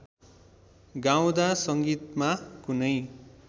गाउँदा संगीतमा कुनै